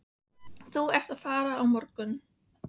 Þú ert að fara á morgun.